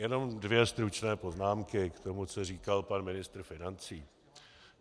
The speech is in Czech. Jenom dvě stručné poznámky k tomu, co říkal pan ministr financí.